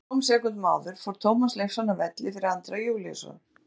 Örfáum sekúndum áður fór Tómas Leifsson af velli fyrir Andra Júlíusson.